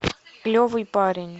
клевый парень